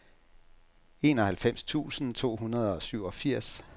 enoghalvfems tusind to hundrede og syvogfirs